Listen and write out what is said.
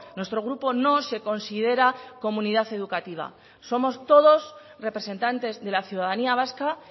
nuestro grupo no se considera comunidad educativa somos todos representantes de la ciudadanía vasca